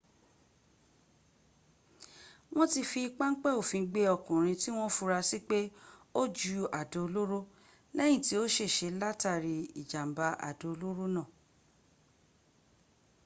wọ́n ti fi páńpẹ́ òfin gbé ọkùnrin tí wọ́n fura sí pé o ju àdó olóró lẹ́yìn tí ó ṣèse látàrí ìjàmbá àdó olóró náà